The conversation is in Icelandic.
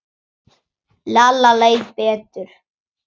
Lalla leið betur.